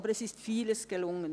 Aber vieles ist gelungen.